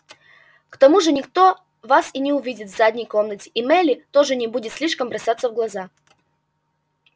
к тому же никто вас и не увидит в задней комнате и мелли тоже не будет слишком бросаться в глаза